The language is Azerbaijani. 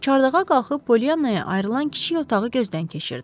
Çardağa qalxıb Pollyannaya ayrılan kiçik otağı gözdən keçirdi.